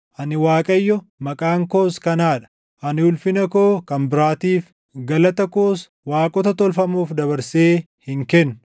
“Ani Waaqayyo; maqaan koos kanaa dha! Ani ulfina koo kan biraatiif, galata koos waaqota tolfamoof dabarsee hin kennu.